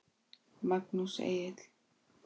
Magnús Egill.